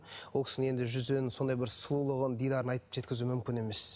ол кісінің енді жүзінен сондай бір сұлулығын дидарын айтып жеткізу мүмкін емес